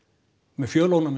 með